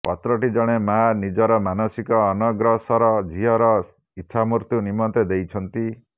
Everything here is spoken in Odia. ପତ୍ରଟି ଜଣେ ମା ନିଜର ମାନସିକ ଅନଗ୍ରସର ଝିଅର ଇଚ୍ଛାମୃତ୍ୟୁ ନିମନ୍ତେ ଦେଇଛନ୍ତି